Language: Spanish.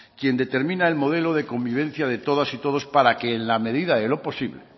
quien determina el modelo de convivencia de todas y todos para que en la medida de lo posible